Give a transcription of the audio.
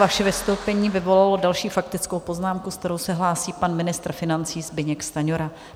Vaše vystoupení vyvolalo další faktickou poznámku, se kterou se hlásí pan ministr financí Zbyněk Stanjura.